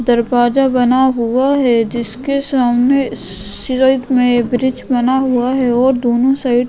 दरवाजा बना हुआ है जिसके सामने सि में ब्रिज बना हुआ है और दोनों साइड --